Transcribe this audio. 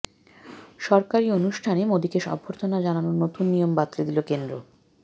সরকারি অনুষ্ঠানে মোদীকে অভ্যর্থনা জানানোর নতুন নিয়ম বাতলে দিল কেন্দ্র